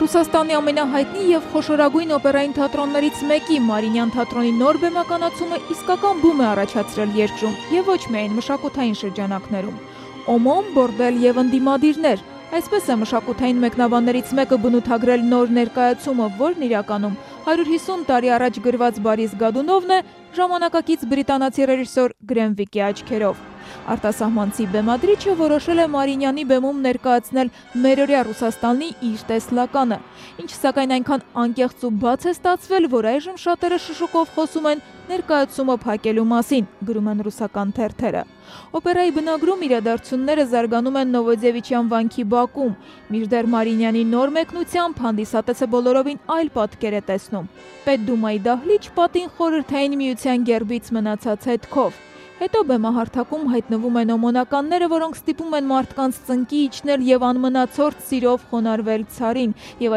Ռուսաստանի ամենահայտնի եւ խոշորագույն օպերային թատրոններից մեկի՝ Մարիինյան թատրոնի նոր բեմականացումը իսկական բում է առաջացրել երկրում, եւ ոչ միայն մշակութային շրջանակներում: «Օմոն, բորդել եւ ընդդիմադիրներ». այսպես է մշակութային մեկը բնութագրել նոր ներկայացումը, որն իրականում 150 տարի առաջ գրված «Բորիս Գոդունովն» է՝ ժամանակակից բրիտանացի ռեժիսոր Գրեմ Վիկի աչքերով: «Արտասահմանցի բեմադրիչը որոշել է Մարիինյանի բեմում ներկայացնել մերօրյա Ռուսաստանի իր տեսլականը, ինչը, սակայն, այնքան անկեղծ ու բաց է ստացվել, որ այժմ շատերը շշուկով խոսում են ներկայացումը փակելու մասին», - գրում են ռուսական թերթերը: Օպերայի բնագրում իրադարձությունները զարգանում են Նովոդեւիչյան վանքի բակում, մինչդեռ Մարիինյանի նոր մեկնությամբ հանդիսատեսը բոլորովին այլ պատկեր է տեսնում՝ Պետդումայի դահլիճ, պատին՝ Խորհրդային Միության գերբից մնացած հետքով: Հետո բեմահարթակում հայտնվում են օմոնականները, որոնք ստիպում են մարդկանց ծնկի իջնել եւ անմնացորդ սիրով խոնարհվել Ցարին, եւ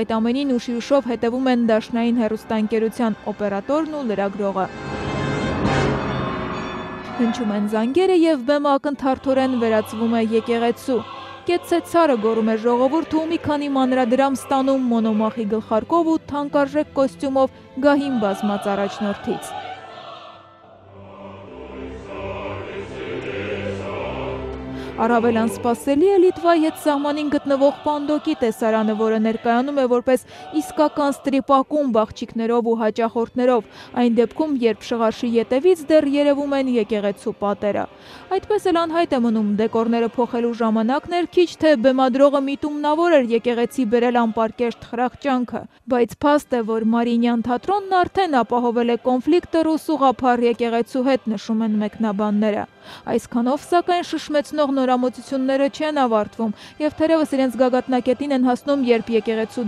այդ ամենին ուշի ուշով հետեւում են դաշնային հեռուստաընկերության օպերատորն ու լրագրողը: Հնչում են զանգերը, եւ բեմը ակնթարթորեն վերածվում է եկեղեցու։ «Կեցցե ցարը»` վանկարկում է ժողովուրդը ու մի քանի մանրադրամ ստանում Մոնոմախի գլխարկով ու թանկարժեք կոստյումով գահին բազմած առաջնորդից: Առավել անսպասելի է Լիտվայի հետ սահմանին գտնվող պանդոկի տեսարանը, որը ներկայանում է որպես իսկական սթրիփ-ակումբ՝ աղջիկներով ու հաճախորդներով, այն դեպքում, երբ շղարշի ետեւից դեռ երեւում են եկեղեցու պատերը: «Այդպես էլ անհայտ է մնում՝ դեկորները փոխելու ժամանա՞կն էր քիչ, թե՞ բեմադրողը միտումավոր էր եկեղեցի բերել անպարկեշտ խրախճանքը, բայց փաստ է, որ Մարիինյան թատրոնն արդեն ապահովել է կոնֆլիկտը Ռուս ուղղափառ եկեղեցու հետ», - նշում են մեկնաբանները: Այսքանով, սակայն, ապշեցնող նորամուծությունները չեն ավարտվում եւ թերեւս իրենց գագաթնակետին են հասնում, երբ եկեղեցու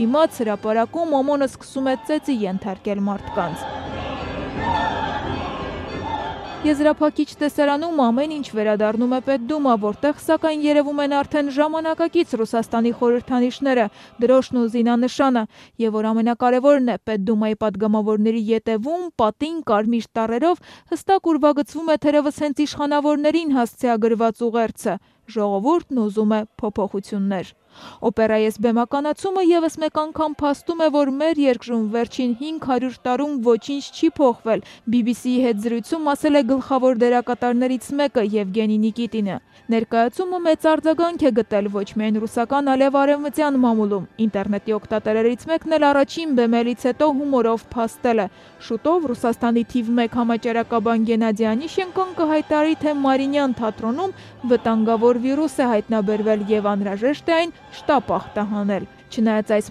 դիմաց՝ հրապարակում, օմոնը սկսում է ծեծի ենթարկել մարդկանց: Եզրափակիչ տեսարանում ամեն ինչ վերադառնում է Պեդումա, որտեղ, սակայն, երեւում են արդեն ժամանակակից Ռուսաստանի խորհրդանիշները՝ դրոշն ու զինանշանը... Եվ որ ամենակարեւորն է՝ Պետդումայի պատգամավորների ետեւում՝ պատին, կարմիր տառերով հստակ ուրվագծվում է թերեւս հենց նրանց՝ իշխանավորներին, հասցեագրված ուղերձը. - «Ժողովուրդն ուզում է փոփոխություններ»: «Օպերայի այս բեմականացումը եւս մեկ անգամ փաստում է, որ մեր երկրում վերջին 500 տարում ոչինչ չի փոխվել», - BBC-ի հետ զրույցում ասել է Բորիս Գոդունովի դերակատարը՝ Եվգենի Նիկիտինը։ Ներկայացումը մեծ արձագանք է գտել ոչ միայն ռուսական, այլեւ արեւմտյան մամուլում, ինտերնետի օգտատերերից մեկն էլ առաջին բեմելից հետո հումորով փաստել է. - «Շուտով Ռուսաստանի թիվ մեկ համաճարակաբան Գենադի Օնիշչենկոն կհայտարարարի, թե Մարիինյան թատրոնում վտանգավոր վիրուս է հայտնաբերվել, եւ անհրաժեշտ է այն շտապ ախտահանել»: Չնայած այս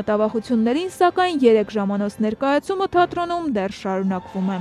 մտավախություններին, սակայն, երեք ժամանոց բեմադրության ներկայացումը թատրոնում դեռ շարունակվում է։